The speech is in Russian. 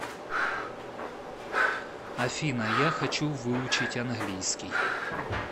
афина я хочу выучить английский